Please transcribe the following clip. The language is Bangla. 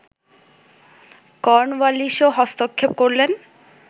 কর্নওয়ালিশও হস্তক্ষেপ করলেন